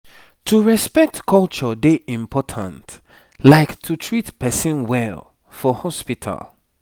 to respect culture dey important like to treat person well for hospital